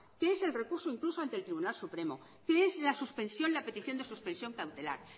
que es el recurso incluso ante el tribunal supremo que es la suspensión la petición de suspensión cautelar